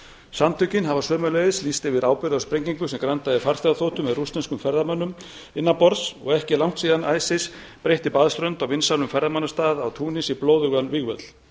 samtökin hafa sömuleiðis lýst yfir ábyrgð á sprengingu sem grandaði farþegaþotu með rússneskum ferðamönnum innanborðs og ekki er langt síðan isis breytti baðströnd á vinsælum ferðamannastað í túnis í blóðugan vígvöll